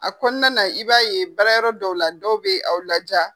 A kɔnɔna na i b'a ye baarayɔrɔ dɔw la dɔw bɛ aw laja.